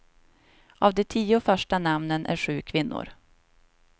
Av de tio första namnen är sju kvinnor.